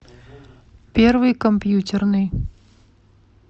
первый компьютерный